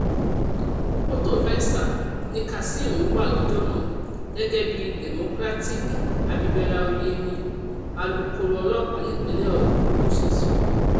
mọ́tò venza ni kazeem ń wá lọ́jọ́ náà gẹ́gẹ́ bí democratic abibera oyemi alūkkoro ọlọ́pàá nípínlẹ̀ ogun ṣe sọ